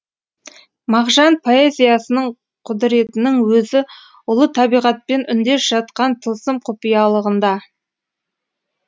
мағжан поэзиясының құдіретінің өзі ұлы табиғатпен үндес жатқан тылсым құпиялығында